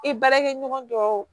I baarakɛɲɔgɔn dɔw